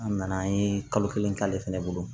An nana an ye kalo kelen k'ale fɛnɛ bolo